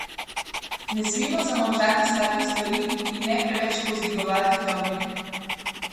Ne smemo zamolčati slabih stvari in ne preveč povzdigovati dobrih.